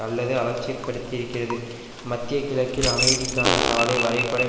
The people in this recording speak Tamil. அல்லது அலட்சியப்படுத்தியிருக்கிறது மத்திய கிழக்கில் அமைதிக்கான சாலை வரைபடம்